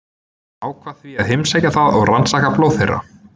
Hann ákvað því að heimsækja það og rannsaka blóð þeirra.